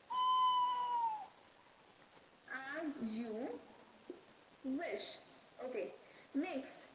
are you wish okay next